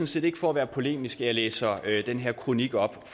set ikke for at være polemisk at jeg læser den her kronik op